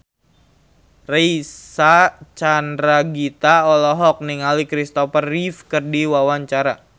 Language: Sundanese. Reysa Chandragitta olohok ningali Christopher Reeve keur diwawancara